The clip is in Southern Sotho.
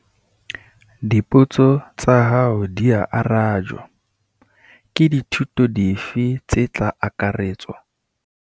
Dipotso tsa hao dia arajwa. Ke dithuto dife tse tla akaretswa?